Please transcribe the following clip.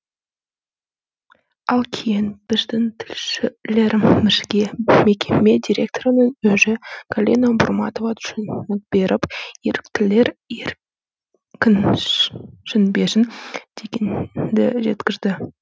ал кейін біздің тілшілерімізге мекеме директорының өзі галина бурматова түсінік беріп еріктілер еркінсінбесін дегенді жеткізді